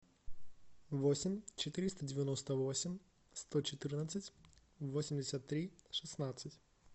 восемь четыреста девяносто восемь сто четырнадцать восемьдесят три шестнадцать